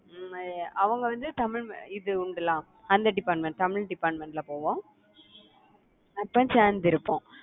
அவங்க வந்து தமிழ் அந்த department தமிழ் department ல போவோம். அப்ப சேர்ந்து இருப்போம்